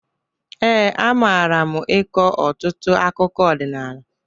Ee, amara m ịkọ ọtụtụ akụkụ ọdịnala.